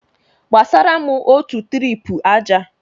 Gbasara m otu tirip aja!